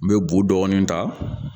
N bɛ bu dɔɔni ta